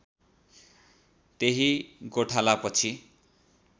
त्यही गोठाला पछि